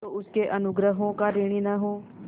जो उसके अनुग्रहों का ऋणी न हो